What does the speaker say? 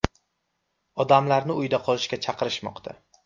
Odamlarni uyda qolishga chaqirishmoqda.